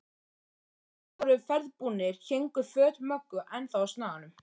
Þegar allir voru ferðbúnir héngu föt Möggu ennþá á snaganum.